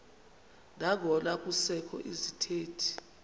nangona kusekho izithethi